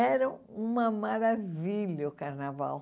Era uma maravilha o carnaval.